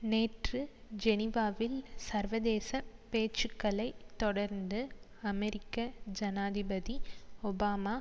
நேற்று ஜெனிவாவில் சர்வதேச பேச்சுக்களை தொடர்ந்து அமெரிக்க ஜனாதிபதி ஒபாமா